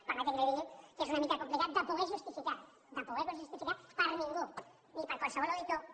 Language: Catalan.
permeti’m que li digui que és una mica complicat de poder justificar de poder ho justificar per ningú ni per qualsevol auditor que